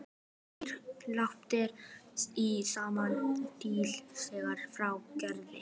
Þrír lampar í sama stíl fylgja frá Gerði.